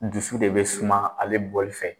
Dusu de be suman ale bɔli fɛ